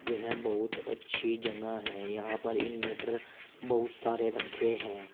यह बहुत अच्छी जगह है यहां पर इन्वेंटर बहुत सारे रखे हैं।